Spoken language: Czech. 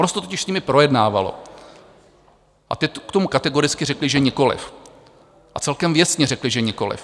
Ono se to totiž s nimi projednávalo a ty k tomu kategoricky řekly, že nikoliv, a celkem věcně řekly, že nikoliv.